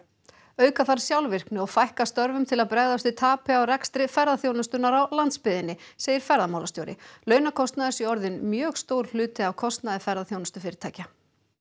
auka þarf sjálfvirkni og fækka störfum til að bregðast við tapi á rekstri ferðaþjónustunnar á landsbyggðinni segir ferðamálastjóri launakostnaður sé orðinn mjög stór hluti af kostnaði ferðaþjónustufyrirtækja